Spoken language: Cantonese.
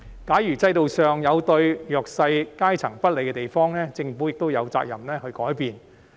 假如制度上有對弱勢階層不利的地方，政府亦有責任去改變。